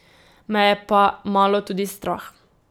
Me je pa malo tudi strah.